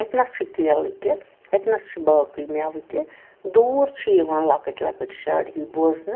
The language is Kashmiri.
.اَتہِ نس چھ کیلہٕ تہِ اَتہِ نس چُھ باقےٕ مٮ۪وٕتہِ دوٗر چھ یِوان لۄکٕٹۍ لۄکٕٹۍ شڈ ہی بوزنہٕ